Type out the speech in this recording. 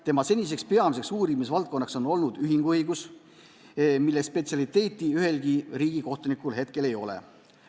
Tema seniseks peamiseks uurimisvaldkonnaks on olnud ühinguõigus, mille spetsialiteeti ühelgi riigikohtunikul hetkel ei ole.